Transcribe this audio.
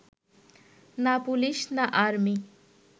না পুলিশ, না আর্মি